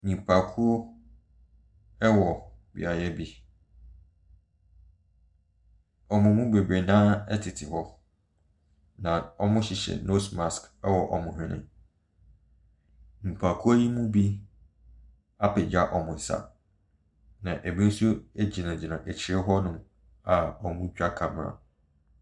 Nnipakuo ɛwɔ beaeɛ bi. Wɔn mu bebree naa ɛtete hɔ na wɔhyehyɛ nose mask wɔ wɔn whɛne. Nipakuo yi mu bi apegya wɔn sa na ebi nso gyinagyina akyire hɔ nom a wɔretwa camera.